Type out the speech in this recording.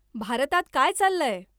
भारतात काय चाललंय?